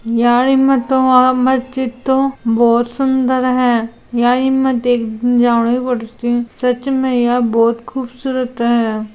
यार इमे तो आ मज्जिद तो बोहोत सुंदर है यार इमे देख जानो ही पड़सी सच मे यार बोहोत खूबसूरत है।